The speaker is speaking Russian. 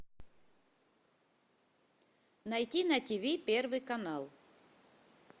найти на тиви первый канал